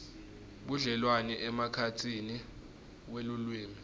budlelwane emkhatsini welulwimi